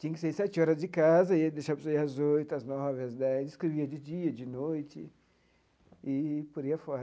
Tinha que sair sete horas de casa, deixava sair às oito, às nove, às dez, escrevia de dia, de noite, e por aí afora.